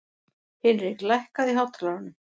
Hinrik, lækkaðu í hátalaranum.